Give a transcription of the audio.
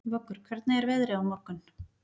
Vöggur, hvernig er veðrið á morgun?